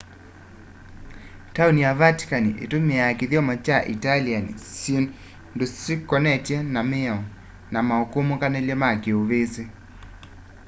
taoni ya vatican itumiaa kĩthyomo kya italian syĩndũnĩ syĩkonetwe na mĩao na mukumukanilye wa kiuvisi